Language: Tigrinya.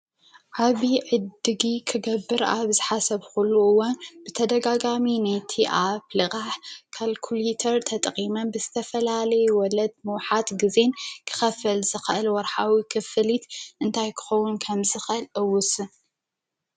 ዓብይ ዕድጊት ክገብር ኣብ ዝሓሰብዂሉ እዋን ብተደጋጋሚ ነቲ ኣብ ልቓሕ ካልኩልተር ተጠቒመ ብዝተፈላለየ ወለድ መውሓጢ ጊዜ ክኸፍል ዝኽእል ወርሓዊ ኽፍሊት እንታይ ክኸዉን ከም ዝኽእል እውስን፡፡